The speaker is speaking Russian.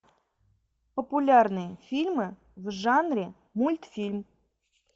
популярные фильмы в жанре мультфильм